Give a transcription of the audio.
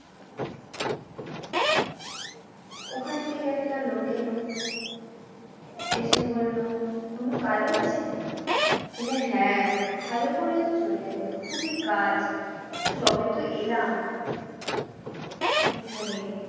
ওখান থেকে একটা লোক এলো এসে বললো কোনো কাজ আছে বললে হ্যাঁ ভালো করেছো চলে এলে খুবই কাজ সবেতো এলাম এখানে